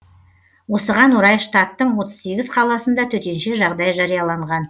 осыған орай штаттың отыз сегіз қаласында төтенше жағдай жарияланған